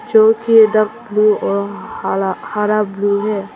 जोकि dark blue और हला हरा ब्लू है।